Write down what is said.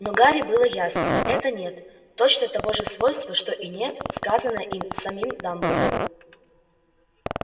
но гарри было ясно это нет точно того же свойства что и нет сказанное им самим дамблдору